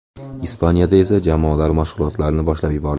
Ispaniyada esa jamoalar mashg‘ulotlarni boshlab yubordi.